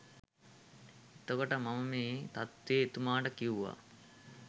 එතකොට මම මේ තත්ත්වය එතුමාට කිව්වා